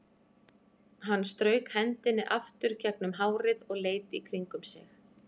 Hann strauk hendinni aftur gegnum hárið og leit í kringum sig.